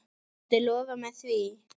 Viltu lofa mér því?